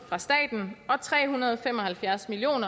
fra staten og tre hundrede og fem og halvfjerds million